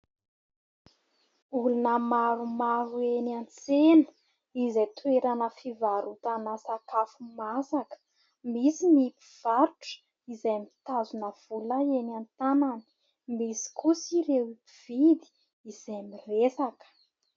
Olona maromaro eny an-tsena izay toerana fivaharotana sakafo masaka. Misy ny mpivarotra izay mitazona vola eny an-tanany, misy kosa ireo mpividy izay miresaka.